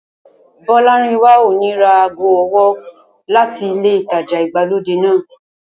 Bọ́lárìnwá ò ní ra ago ọwọ́ láti ilé ìtajà ìgbàlódé náà